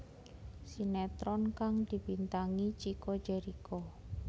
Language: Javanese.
Sinetron kang dibintangi Chico Jericho